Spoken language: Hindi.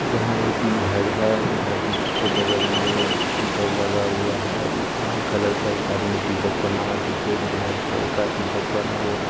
यहां एक घर है घर के बगल में पिलर लगा हुआ है लाल कलर का एक आदमी टी शर्ट पहना हुआ पीछे एक ब्लैक कलर का टी शर्ट पहना हुआ --